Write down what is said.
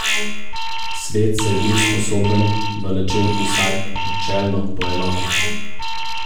Svet se je bil sposoben v nečem vsaj načelno poenotiti.